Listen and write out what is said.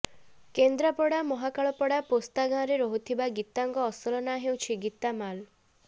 କେନ୍ଦ୍ରାପଡ଼ା ମହାକାଳପଡ଼ା ପୋସ୍ତା ଗାଁରେ ରହୁଥିବା ଗୀତାଙ୍କ ଅସଲ ନାଁ ହେଉଛି ଗୀତା ମାଲ